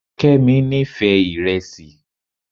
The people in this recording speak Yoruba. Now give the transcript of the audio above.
Kemi nífẹ̀ẹ́ iresi